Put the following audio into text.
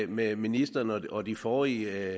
med ministeren og de forrige